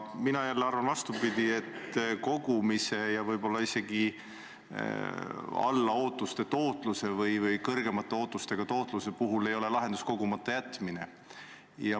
Mina jälle arvan vastupidi, et ka võib-olla alla ootuste tootluse puhul ei ole lahendus kogumata jätmine.